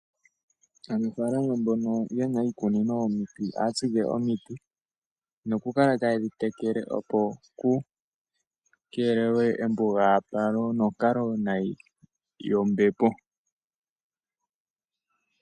Aanafalama mbono yena iikunino yomiti ohatsike omiti nokukala tayedhiteleke opo kukelelwe embugapalo nonkalo nayi yombepo.